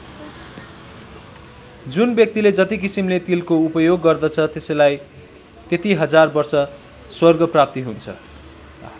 जुन व्यक्तिले जति किसिमले तिलको उपयोग गर्दछ त्यसलाई त्यति हजार वर्ष स्वर्गप्राप्ति हुन्छ।